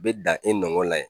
Be dan e nɔgɔ la yen